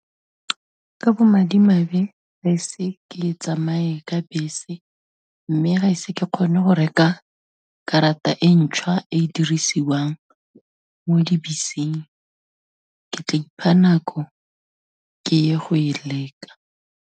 Ka bo madimabe, gaise ke tsamaye ka bese mme gaise ke kgone go reka karata e ntšhwa e dirisiwang mo dibeseng, ke tla ipha nako, ke ye go e leka.